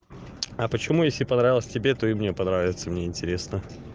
а почему если понравилось тебе ты мне понравится мне интересно